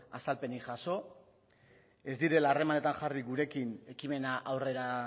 azalpenik jaso ez direla harremanetan jarri gurekin ekimena aurrera